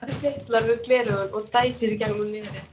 Bílstjórinn fitlar við gleraugun og dæsir í gegnum nefið.